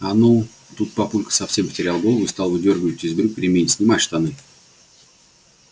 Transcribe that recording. а ну тут папулька совсем потерял голову и стал выдёргивать из брюк ремень снимай штаны